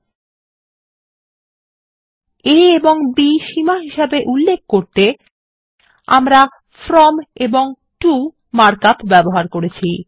a এবং b সীমা হিসাবে উল্লেখ করতে আমরা ফ্রম এবং টো মার্ক আপ ব্যবহার করেছি